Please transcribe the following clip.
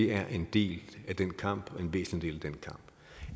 er en del af den kamp og en væsentlig del af den kamp